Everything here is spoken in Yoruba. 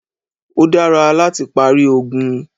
Ó dára láti parí ogun.